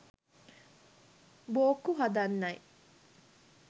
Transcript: බෝක්කු හදන්නයි